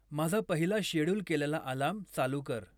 माझा पहिला शेड्युल केलेला अलार्म चालू कर